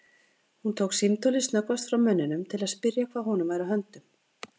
Hún tók símtólið snöggvast frá munninum til að spyrja hvað honum væri á höndum.